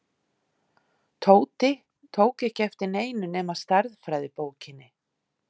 Tóti tók ekki eftir neinu nema stærðfræðibókinni.